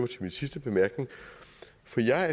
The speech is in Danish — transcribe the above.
til min sidste bemærkning for jeg er